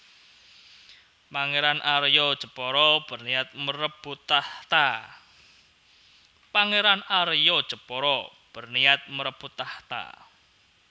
Pangeran Arya Jepara berniat merebut takhta